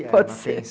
pode ser.